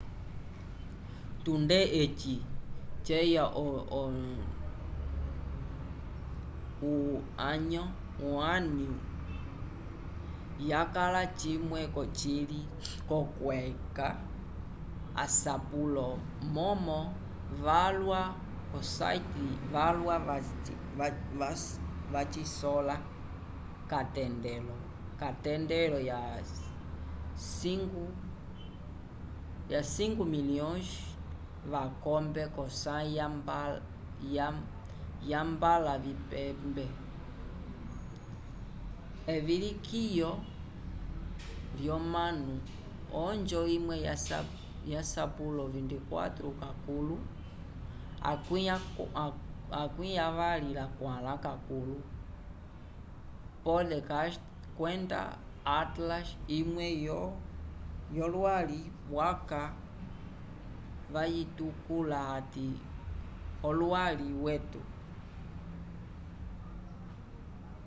tunde eci ceya o onio yakala cimwe cocili co kweca asapulo momo valwa o site valwa va cisola ka tendelo ya 5.000.000 vakombe ko sayi ya mbala vipembe evilikiyo vyo manu onjo imwe ya sapulo 24 ka kukuto podcast kwenda otlas imwe yo lwali vaca vayitukula ati olwali weto